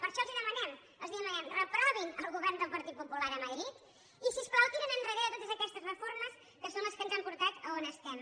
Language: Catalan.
per això els demanem els demanem reprovin el govern del partit popular a madrid i si us plau tirin endarrere totes aquestes reformes que són les que ens han portat a on estem